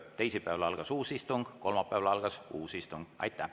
Teisipäeval algas uus istung, kolmapäeval algas uus istung.